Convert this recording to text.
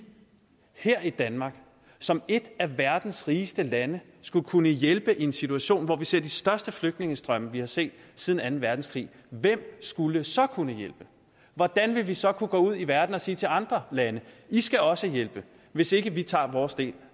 her i danmark som et af verdens rigeste lande skulle kunne hjælpe i en situation hvor vi ser de største flygtningestrømme vi har set siden anden verdenskrig hvem skulle så kunne hjælpe hvordan ville vi så kunne gå ud i verden og sige til andre lande i skal også hjælpe hvis ikke vi tager vores del